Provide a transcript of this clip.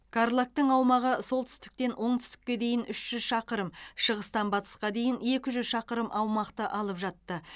қарлагтың аумағы солтүстіктен оңтүстікке дейін үш жүз шақырым шығыстан батысқа дейін екі жүз шақырым аумақты алып жатты